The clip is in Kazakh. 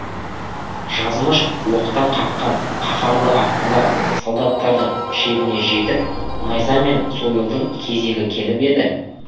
жазмыш оқтан қаққан қаһарлы аттылар солдаттардың шебіне жетіп найза мен сойылдың кезегі келіп еді